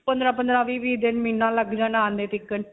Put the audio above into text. ਪੰਦਰਾਂ-ਪੰਦਰਾਂ, ਵੀਹ-ਵੀਹ ਦਿਨ ਮਹੀਨਾ ਲੱਗ ਜਾਣਾ .